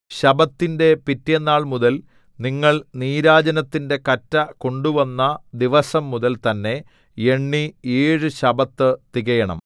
ശബ്ബത്തിന്റെ പിറ്റെന്നാൾമുതൽ നിങ്ങൾ നീരാജനത്തിന്റെ കറ്റ കൊണ്ടുവന്ന ദിവസംമുതൽ തന്നെ എണ്ണി ഏഴു ശബ്ബത്ത് തികയണം